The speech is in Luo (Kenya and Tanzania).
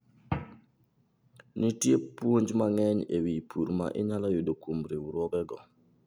Nitie puonj mang'eny e wi pur ma inyalo yudo kuom riwruogego.